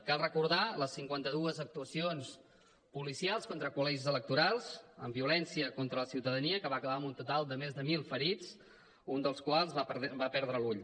cal recordar les cinquanta dues actuacions policials contra col·legis electorals amb violència contra la ciutadania que van acabar amb un total de més de mil ferits un dels quals va perdre l’ull